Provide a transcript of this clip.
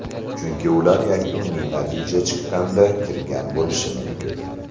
Chunki ular yakuniy natija chiqqanda kirgan bo‘lishi mumkin.